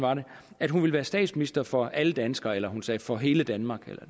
at hun ville være statsminister for alle danskere eller hun sagde for hele danmark